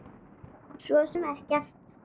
Svo sem ekkert.